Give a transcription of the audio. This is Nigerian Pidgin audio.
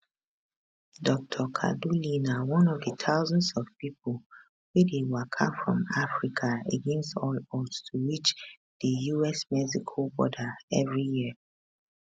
dr kaduli na one of di thousands of pipo wey dey waka from africa against all odds to reach di usmexico border evri year